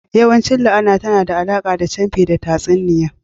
Yawancin la'ana tana da alaƙa da camfi da tatsuniya